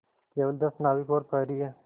केवल दस नाविक और प्रहरी है